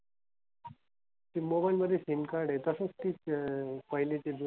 ते mobile मध्ये SIM card आहे तसंच ती पहिली ते जुनं,